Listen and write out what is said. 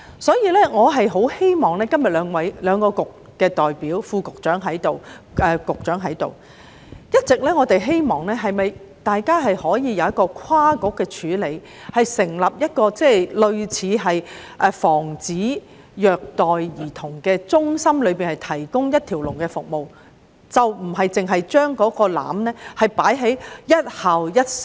既然兩個政策局今天均有代表與會，包括副局長和局長，我想表達我們一直希望政府能夠跨局處理這個問題，成立防止虐待兒童中心，以提供一條龍服務，而不是只把雞蛋放在"一校一社工"的籃子裏。